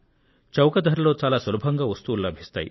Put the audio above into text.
చౌక ధరలో చాలా సులభంగా వస్తువులు లభిస్తాయి